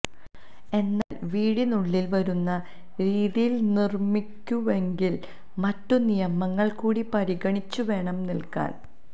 എന്നാല് വീടിനുള്ളില് വരുന്ന രീതിയില് നിര്മ്മിക്കുന്നുവെങ്കില് മറ്റു നിയമങ്ങള് കൂടി പരിഗണിച്ചു വേണം നല്കാന്